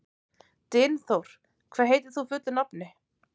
Dynþór, hvað heitir þú fullu nafni?